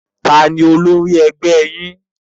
Taàní ólori ẹgbẹ́ yín?